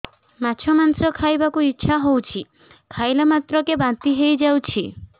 ମାଛ ମାଂସ ଖାଇ ବାକୁ ଇଚ୍ଛା ହଉଛି ଖାଇଲା ମାତ୍ରକେ ବାନ୍ତି ହେଇଯାଉଛି